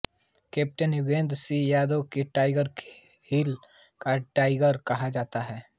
captain Yogendra Singh Yadav को tiger hill का tiger कहा जाता है